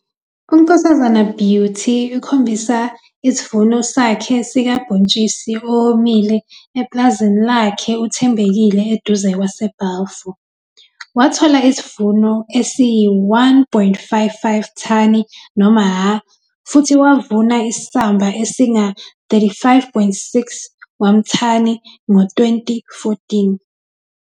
Isithombe 4- UNkk Beauty Skhosana ukhombisa isivuno sakhe sikabhontshisi owomile epulazini lakhe UThembekile eduze kwaseBalfour. Wathola isivuno esiyi-1,55 thani noma ha futhi wavuna isamba esinga-35,6 wamthani ngo-2014.